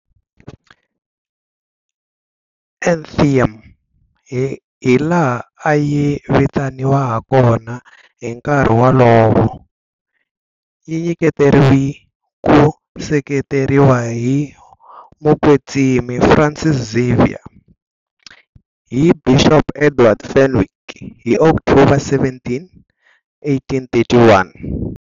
Athenaeum, hilaha a yi vitaniwa hakona hi nkarhi wolowo, yi nyiketeriwe ku seketeriwa hi Mukwetsimi Francis Xavier hi Bixopo Edward Fenwick hi October 17, 1831.